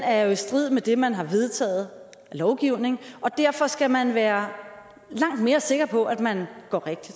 er i strid med det man har vedtaget af lovgivning og derfor skal man være langt mere sikker på at man går rigtigt